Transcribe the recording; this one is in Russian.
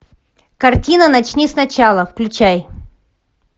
картина начни сначала включай